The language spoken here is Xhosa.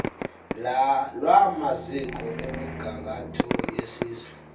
lwamaziko emigangatho yesizwe